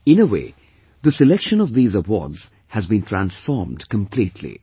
In a way, the selection of these awards has been transformed completely